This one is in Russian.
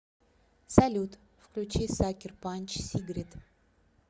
салют включи сакер панч сигрид